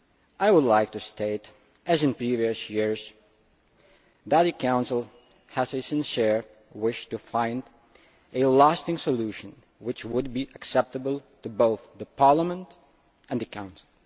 I would like to state that as in previous years the Council has a sincere wish to find a lasting solution which would be acceptable to both Parliament and the Council.